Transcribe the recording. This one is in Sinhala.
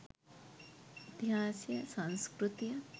ඉතිහාසය සංස්කෘතිය